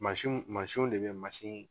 Mansinw mansinw de bɛ ye mansin.